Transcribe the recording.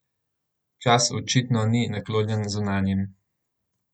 Čas očitno ni naklonjen zunanjim.